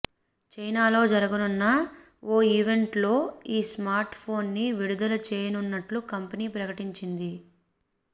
చైనాలో జరగనున్న ఓ ఈవెంట్ లో ఈ స్మార్ట్ ఫోన్ ని విడుదల చేయనున్నట్లు కంపెనీ ప్రకటించింది